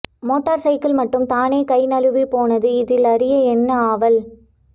motor cycle மட்டும் தானே கை நழுவிபோனது இதில் அறிய என்ன ஆவல்